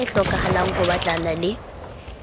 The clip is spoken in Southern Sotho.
e hlokahalang ho batlana le